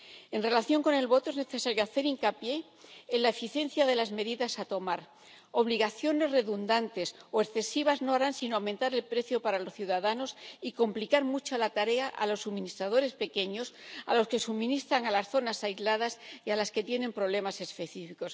En relación con el voto, es necesario hacer hincapié en la eficiencia de las medidas que han de tomarse unas obligaciones redundantes o excesivas no harán sino aumentar el precio para los ciudadanos y complicar mucho la tarea a los suministradores pequeños, a los que suministran a las zonas aisladas y a los que tienen problemas específicos.